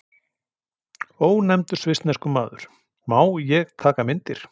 Ónefndur svissneskur maður: Má ég taka myndir?